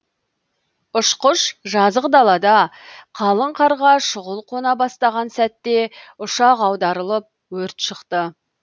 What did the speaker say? ұшқыш жазық далада қалың қарға шұғыл қона бастаған сәтте ұшақ аударылып өрт шықты